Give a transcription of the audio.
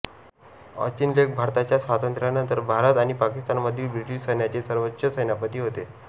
Auchinleck भारताच्या स्वातंत्र्यानंतर भारत आणि पाकिस्तानमधील ब्रिटिश सैन्याचे सर्वोच्च सेनापती होते